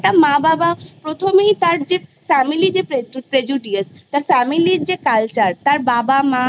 একটা মা বাবা প্রথমেই তার যে Family যে Prejudious তার Family র যে Culture তার বাবা মা